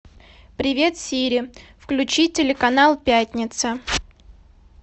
привет сири включи телеканал пятница